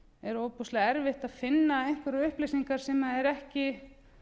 er ofboðslega erfitt að finna einhverjar upplýsingar sem eru ekki